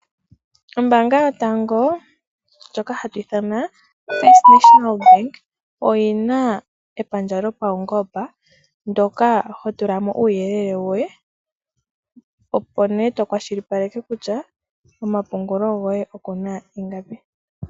Ombaanga yotango ndjoka hatu ithana FNB oyina epandja lyo paunongomba ndoka hotulamo uuyelele woye opo nee okwashita kutya komapungulo goye okuna ingapi.